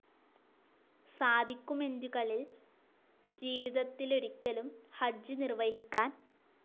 സാധിക്കുമെൻ്റ്കളിൽ ജീവിതത്തിലൊരിക്കലും ഹജ്ജ്‌ നിർവഹിക്കാൻ.